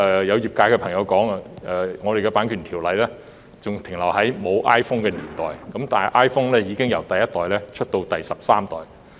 有業界朋友表示，我們的《版權條例》仍停留在沒有 iPhone 的年代，但 iPhone 已由第一代演進至第十三代。